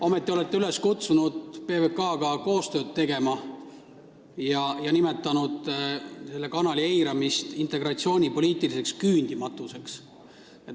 Ometi olete kutsunud üles PBK-ga koostööd tegema ja nimetanud selle kanali eiramist integratsioonipoliitiliseks küündimatuseks.